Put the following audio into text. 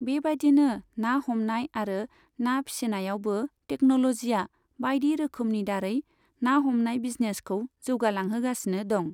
बेबायदिनो ना हमनाय आरो ना फिसिनायावबो टेकन'लजिया बायदि रोकोमनि दारै ना हमनाय बिजिनेसखौ जौगा लांहोगासिनो दं।